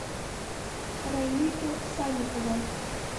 раильку санникова